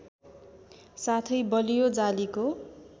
साथै बलियो जालीको